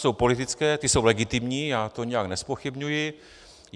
Jsou politické, ty jsou legitimní, já to nijak nezpochybňuji.